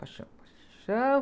Paixão, paixão.